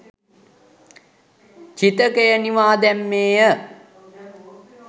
චිතකය නිවා දැම්මේ ය.